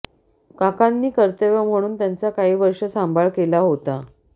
काकांनी कर्तव्य म्हणून त्याचा काही वर्षे सांभाळ केला होता